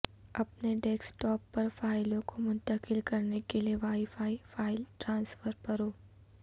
اپنے desktop پر فائلوں کو منتقل کرنے کے لئے وائی فائی فائل ٹرانسفر پرو